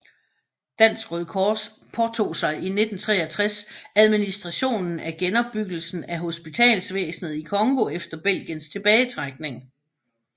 Dansk Røde Kors påtog sig i 1963 administrationen af genopbyggelsen af hospitalsvæsnet i Congo efter Belgiens tilbagetrækning